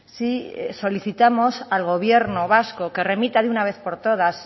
sí solicitamos al gobierno vasco que remita de una vez por todas